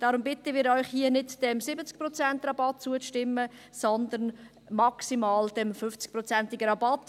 Deshalb bitten wir Sie, hier nicht diesem 70Prozent-Rabatt zuzustimmen, sondern maximal dem 50-prozentigem Rabatt.